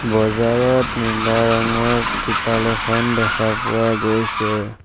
বজাৰত নীলা ৰঙৰ ত্ৰিপাল এখন দেখা পোৱা গৈছে।